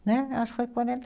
Né, acho que foi quarenta